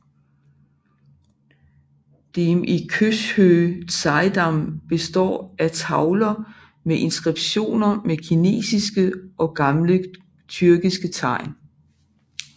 Dem i Khöshöö Tsaidam består af tavler med inskriptioner med kinesiske og gamle tyrkiske tegn